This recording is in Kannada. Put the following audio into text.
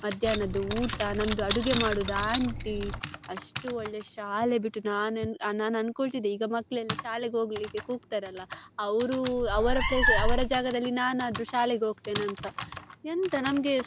ಮಧ್ಯಾಹ್ನದ್ದು ಊಟ ನಮ್ದು ಅಡುಗೆ ಮಾಡುದು aunty ಅಷ್ಟು ಒಳ್ಳೆ ಶಾಲೆ ಬಿಟ್ಟು ನಾನ್ ಅನ ನಾನ್ ಅನ್ಕೊಳ್ಳುತ್ತಿದ್ದೆ ಈಗ ಮಕ್ಕಳೆಲ್ಲಾ ಶಾಲೆಗೆ ಹೋಗ್ಲಿಕ್ಕೆ ಕೂಗ್ತರಲ್ಲ ಅವ್ರು ಅವರ place ಅವರ ಜಾಗದಲ್ಲಿ ನಾನದ್ರು ಶಾಲೆಗೆ ಹೋಗ್ತೆನೆ ಅಂತ ಎಂತ ನಮ್ಗೆ.